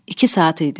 İki saat idi.